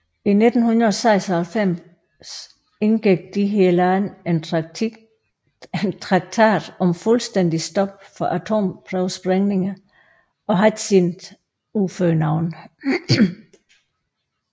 I 1996 indgik disse lande en traktakt om fuldstændigt stop for atomprøvesprængninger og har ikke siden udført nogen